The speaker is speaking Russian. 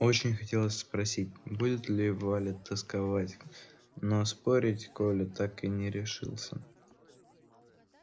очень хотелось спросить будет ли валя тосковать но спорить коля так и не решился